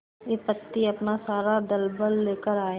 विपत्ति अपना सारा दलबल लेकर आए